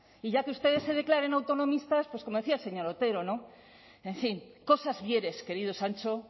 y ya que ustedes se declaran autonomistas como decía el señor otero en fin cosas vieres querido sancho